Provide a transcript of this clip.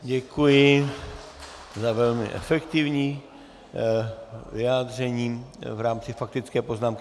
Děkuji za velmi efektivní vyjádření v rámci faktické poznámky.